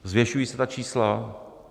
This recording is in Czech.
Zvětšují se ta čísla.